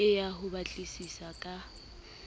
ke ya ho batlisisa ka